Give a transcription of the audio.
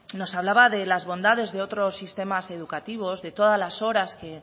nos hablaba de las bondades de otros sistemas educativos de todas las horas que